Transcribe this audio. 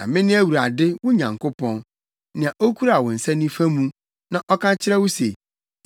Na mene Awurade, wo Nyankopɔn, nea okura wo nsa nifa mu na ɔka kyerɛ wo se, Nsuro; mɛboa wo.